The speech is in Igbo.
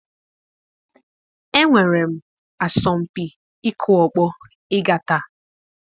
Enwere m asọmpi ịkụ ọkpọ ịga taa